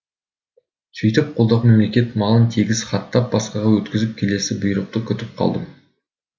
сөйтіп қолдағы мемлекет малын тегіс хаттап басқаға өткізіп келесі бұйрықты күтіп қалдым